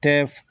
Tɛ f